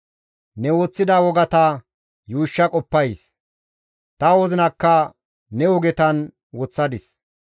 Ne woththida wogata yuushsha qoppays; ta wozinakka ne ogetan woththadis.